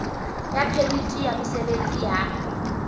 ya phemiti ya mosebetsi ya